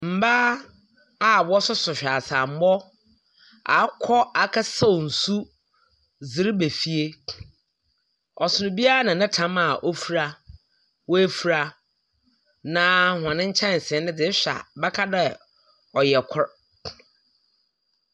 Mmaa a wɔsoso hweaseammɔ akɔ akɔsaw nsu dze reba fie. Ↄsono obiara na ne tam a wɔfura wɔafura, na hon nkyɛnse no de ehwɛ a wɔbɛka dɛ ɔyɛ kor.